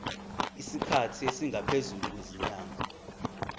isikhathi esingaphezulu kwezinyanga